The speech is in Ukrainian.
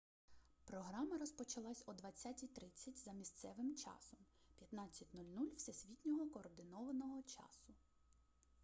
програма розпочалась о 20:30. за місцевим часом 15.00 всесвітнього координованого часу